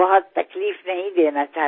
বহু বহু শুভকামনা আপোনালৈ